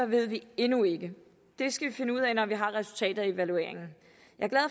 ved vi endnu ikke det skal vi finde ud af når vi har resultatet af evalueringen jeg